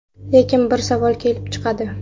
Lekin bir savol kelib chiqadi.